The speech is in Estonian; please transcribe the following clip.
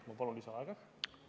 Ma palun lisaaega!